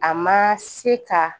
A ma se ka